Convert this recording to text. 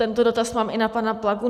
Tento dotaz mám i na pana Plagu.